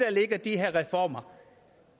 ligger i de her reformer